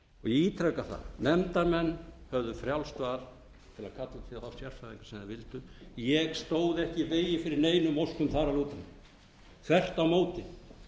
að nefndarmenn höfðu frjálst val til að kalla til þá sérfræðinga sem þeir vildu ég stóð ekki í vegi fyrir neinum óskum þar að lútandi þvert á móti